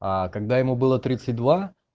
а когда ему было тридцать два